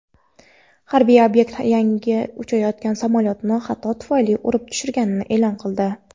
harbiy ob’ekt yaqinida uchayotgan samolyotni xato tufayli urib tushirganini e’lon qildi.